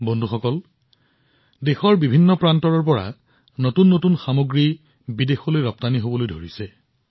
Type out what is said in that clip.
বন্ধুসকল যেতিয়া দেশৰ প্ৰতিটো প্ৰান্তৰ পৰা নতুন সামগ্ৰী বিদেশলৈ গৈ আছে